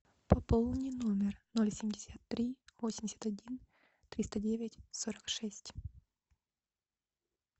пополни номер ноль семьдесят три восемьдесят один триста девять сорок шесть